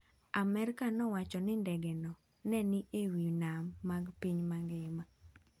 Amerka nowacho ni ndegeno ne ni e wi nam mag piny mangima.